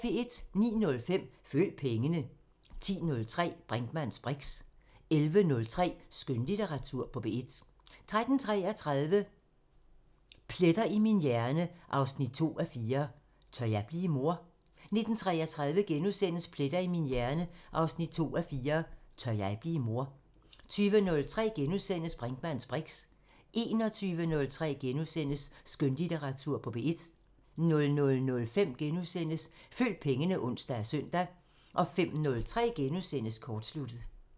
09:05: Følg pengene 10:03: Brinkmanns briks 11:03: Skønlitteratur på P1 13:33: Pletter i min hjerne 2:4 – Tør jeg blive mor? 19:33: Pletter i min hjerne 2:4 – Tør jeg blive mor? * 20:03: Brinkmanns briks * 21:03: Skønlitteratur på P1 * 00:05: Følg pengene *(ons og søn) 05:03: Kortsluttet *